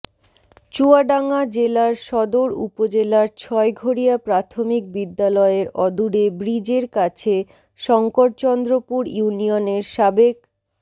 চুয়াডাঙ্গা জেলার সদর উপজেলার ছয়ঘরিয়া প্রাথমিক বিদ্যালয়ের অদূরে ব্রিজের কাছে শঙ্করচন্দ্রপুর ইউনিয়নের সাবেক